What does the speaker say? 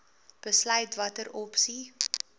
besluit watter opsie